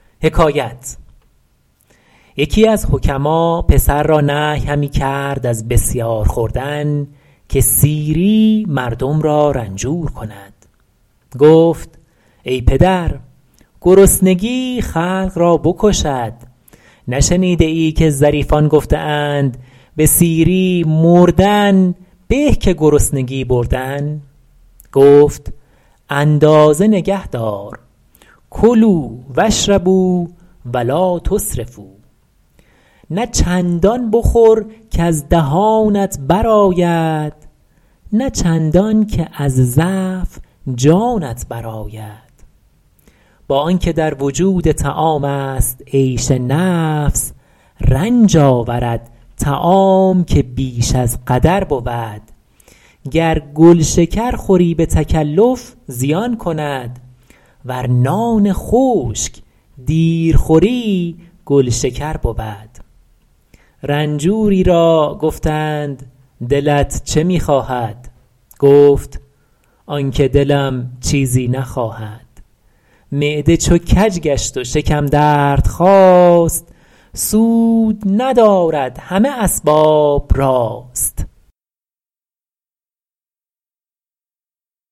یکی از حکما پسر را نهی همی کرد از بسیار خوردن که سیری مردم را رنجور کند گفت ای پدر گرسنگی خلق را بکشد نشنیده ای که ظریفان گفته اند به سیری مردن به که گرسنگی بردن گفت اندازه نگهدار کلوا و اشربوا و لٰا تسرفوا نه چندان بخور کز دهانت بر آید نه چندان که از ضعف جانت بر آید با آن که در وجود طعام است عیش نفس رنج آورد طعام که بیش از قدر بود گر گل شکر خوری به تکلف زیان کند ور نان خشک دیر خوری گل شکر بود رنجوری را گفتند دلت چه می خواهد گفت آن که دلم چیزی نخواهد معده چو کج گشت و شکم درد خاست سود ندارد همه اسباب راست